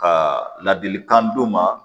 Ka ladilikan d'u ma